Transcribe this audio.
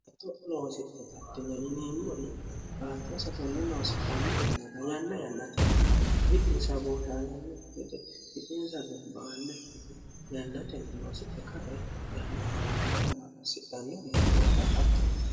eto'iloosie gardine yiniimmuri haattonsa kenne noosidhanne yennaka yanna yannatinni witinsa booshaalanno gede yiphinsa gamba anne hige yannaten noosihe kae yannatunni gamba ussihanno mannoota hattono